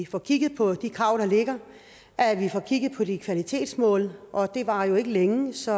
få kigget på de krav der ligger at vi får kigget på de kvalitetsmål og det varer ikke længe så